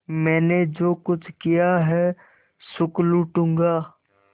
मैंने जो कुछ किया है सुख लूटूँगा